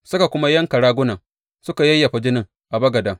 Suka kuma yanka ragunan suka yayyafa jinin a bagaden.